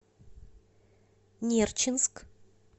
нерчинск